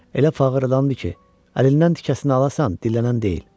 Elə fağırdandı ki, əlindən tikəsini alasan, dillənən deyil.